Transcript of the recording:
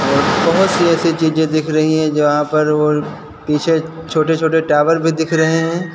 और बोहोत सी ऐसी चीजें दिख रही है जहां पर और पीछे छोटे छोटे टावर भी दिख रहे हैं।